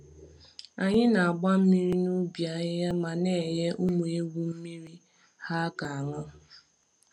Anyị na-agba mmiri n’ubi ahịhịa ma na-enye ụmụ ewu mmiri ha ga-aṅụ.